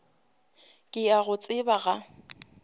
ke a go tseba ga